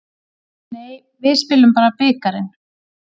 Nei, við spilum bara bikarinn.